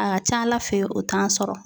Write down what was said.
A ka ca ala fɛ o t'an sɔrɔ.